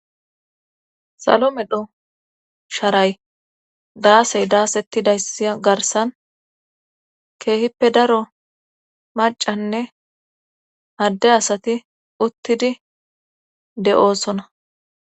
salomedho sharay daasey daasettidayssi garsan keehippe daro macanne hadde asati uttidi de7oosona